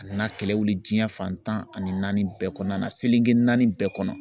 A nana kɛlɛ wuli diɲɛ fantan ani naani bɛɛ kɔnɔna na, seleke naani bɛɛ kɔnɔ.